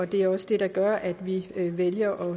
det er også det der gør at vi vælger